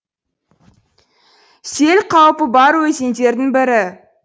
сел қаупі бар өзендердің бірі